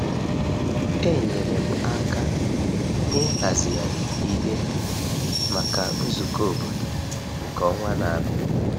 Enyere m aka n’ịhazigharị ihe maka nzukọ obodo nke ọnwa na-abịa.